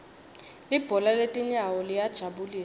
libhola letinyawo liyajabulisa